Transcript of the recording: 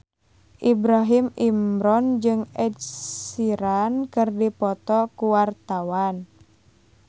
Ibrahim Imran jeung Ed Sheeran keur dipoto ku wartawan